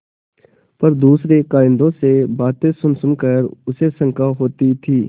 पर दूसरे कारिंदों से बातें सुनसुन कर उसे शंका होती थी